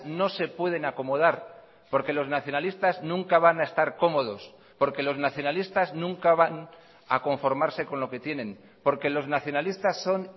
no se pueden acomodar porque los nacionalistas nunca van a estar cómodos porque los nacionalistas nunca van a conformarse con lo que tienen porque los nacionalistas son